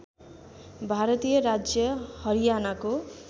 भारतीय राज्य हरियानाको